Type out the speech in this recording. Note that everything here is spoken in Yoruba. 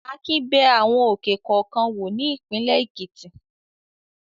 Akin bẹ àwọn òkè kọ̀ọ̀kan wò ní ìpínlẹ̀ Èkìtì.